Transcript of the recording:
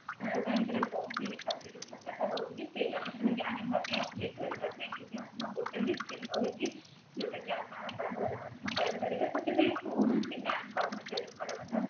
canara bank ରେ ବହି ଖାତା ତା ରହୁଛି ସେ ବାବଦରେ ଜାଣିବା ପାଇଁ update କରିବା ପାଇଁ ମଧ୍ୟ ଗୋଟେ machine ରହିଛି ଯୋଉଁଟାକି ଆପଣ ସାଧାରଣତଃ କରିପାରିବେ ସେଥିପାଇଁ କୌଣସି bank କର୍ମଚାରୀଙ୍କର ମଧ୍ୟ